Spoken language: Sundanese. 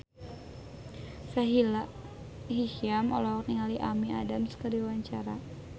Sahila Hisyam olohok ningali Amy Adams keur diwawancara